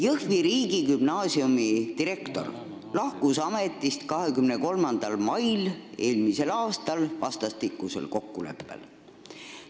Jõhvi riigigümnaasiumi direktor lahkus ametist eelmise aasta 23. mail vastastikusel kokkuleppel.